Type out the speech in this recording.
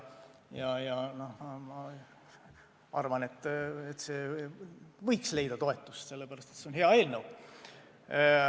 Ja ma arvan, et see võiks leida toetust, sellepärast et see on hea eelnõu.